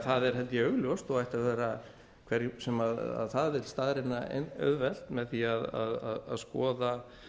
það er augljóst og ætti að vera hverjum sem það vill staðreyna auðvelt með því að skoða